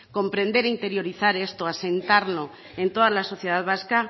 comprender e interiorizar esto asentarlo en toda la sociedad vasca